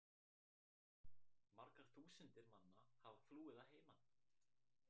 Margar þúsundir manna hafa flúið að heiman.